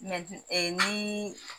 ni